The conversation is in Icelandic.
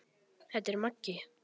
Þetta er Maggi!